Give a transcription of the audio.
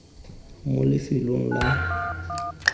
mo lefelong la tiro la